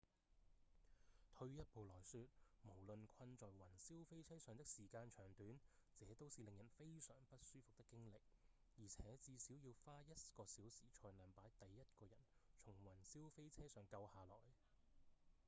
退一步來說無論困在雲霄飛車上的時間長短這都是令人非常不舒服的經歷而且至少要花一個小時才能把第一個人從雲霄飛車上救下來」